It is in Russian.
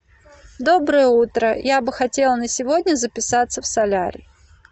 доброе утро я бы хотела на сегодня записаться в солярий